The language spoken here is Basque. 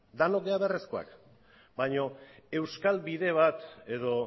denok gara beharrezkoak baino euskal bide bat edo